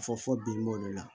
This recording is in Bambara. Fɔ fɔ bi olu la